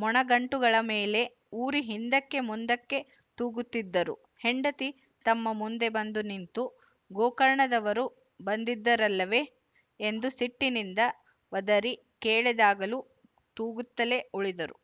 ಮೊಣಗಂಟುಗಳ ಮೇಲೆ ಊರಿ ಹಿಂದಕ್ಕೆ ಮುಂದಕ್ಕೆ ತೂಗುತ್ತಿದ್ದರು ಹೆಂಡತಿ ತಮ್ಮ ಮುಂದೆ ಬಂದು ನಿಂತು ಗೋಕರ್ಣದವರು ಬಂದಿದ್ದರಲ್ಲವೇ ಎಂದು ಸಿಟ್ಟಿನಿಂದ ಒದರಿ ಕೇಳಿದಾಗಲೂ ತೂಗುತ್ತಲೇ ಉಳಿದರು